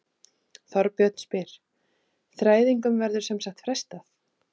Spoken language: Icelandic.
Þorbjörn: Þræðingum verður sem sagt frestað?